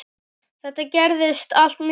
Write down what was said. Þetta gerðist allt mjög hratt.